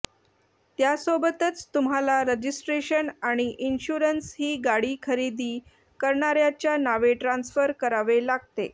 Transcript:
त्यासोबतच तुम्हाला रजिस्ट्रेशन आणि इन्शुअरन्सही गाडी खरेदी करणाऱ्याच्या नावे ट्रान्सफर करावे लागते